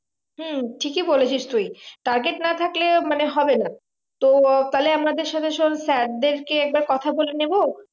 হম ঠিকই বলেছিস তুই target না থাকলে মানে হবে না তো তাহলে আমাদের সাথে শোন্ sir দেরকে একবার কথা বলে নেবো